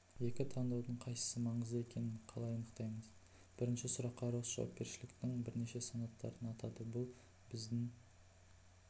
екі таңдаудың қайсысы маңызды екенін қалай анықтаймын бірінші сұраққа росс жауапкершіліктің бірнеше санаттарын атады бұл біздің